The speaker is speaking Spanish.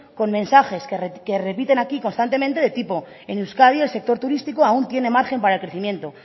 con mensajes que repiten aquí constantemente del tipo en euskadi el sector turístico aún tiene margen para el crecimiento